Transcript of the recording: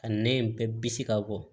Ka nɛn in bɛɛ bisi ka bɔ